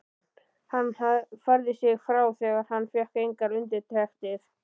Hann færði sig frá þegar hann fékk engar undirtektir.